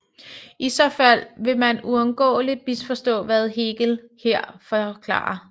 I så fald vil man uundgåeligt misforstå hvad Hegel her forklarer